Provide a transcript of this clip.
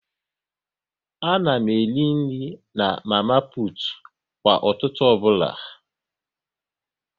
A na m eri nri na mama putu kwa ụtụtụ ọbụla